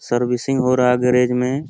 Servicing हो रहा garage में।